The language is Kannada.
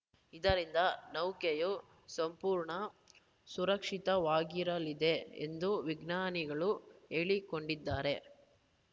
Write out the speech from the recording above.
ಇದರಿಂದ ನೌಕೆಯು ಸಂಪೂರ್ಣ ಸುರಕ್ಷಿತವಾಗಿರಲಿದೆ ಎಂದು ವಿಜ್ಞಾನಿಗಳು ಹೇಳಿಕೊಂಡಿದ್ದಾರೆ